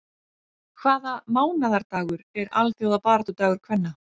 Hvaða mánaðardagur er alþjóðabaráttudagur kvenna?